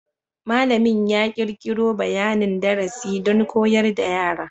Malamin ya kirkiro bayanin darasi don koyar da yara.